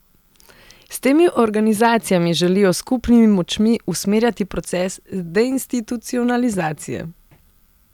S temi organizacijami želijo s skupnimi močmi usmerjati proces deinstitucionalizacije.